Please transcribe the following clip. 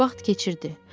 Vaxt keçirdi.